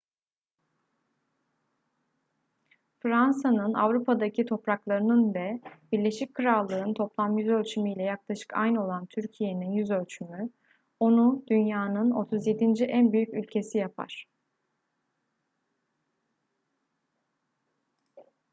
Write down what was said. fransa'nın avrupa'daki topraklarının ve birleşik krallık'ın toplam yüzölçümü ile yaklaşık aynı olan türkiye'nin yüzölçümü onu dünyanın 37. en büyük ülkesi yapar